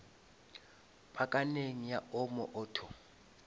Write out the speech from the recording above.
pakaneng ya omo auto